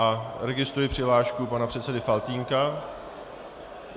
A registruji přihlášku pana předsedy Faltýnka.